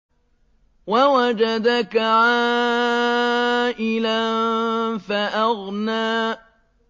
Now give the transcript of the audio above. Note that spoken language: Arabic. وَوَجَدَكَ عَائِلًا فَأَغْنَىٰ